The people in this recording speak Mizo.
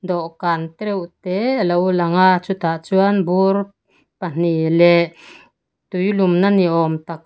dawhkan tereuh tê a lo lang a chutah chuan bur pahnih leh tuilumna ni awm tak--